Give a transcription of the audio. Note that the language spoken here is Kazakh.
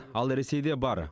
ал ресейде бар